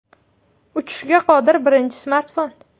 Uchishga qodir birinchi smartfon.